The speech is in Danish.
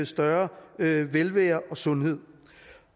større velvære og sundhed